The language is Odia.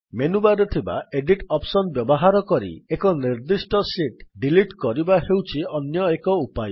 ମେନୁବାର୍ ରେ ଥିବା ଏଡିଟ୍ ଅପ୍ସନ୍ ବ୍ୟବହାର କରି ଏକ ନିର୍ଦ୍ଦିଷ୍ଟ ଶୀଟ୍ ଡିଲିଟ୍ କରିବା ହେଉଛି ଅନ୍ୟ ଏକ ଉପାୟ